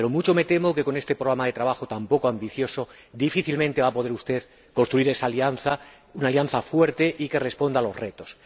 Pero mucho me temo que, con este programa de trabajo tan poco ambicioso, difícilmente va a poder usted construir esa alianza, una alianza fuerte y que responda a los retos.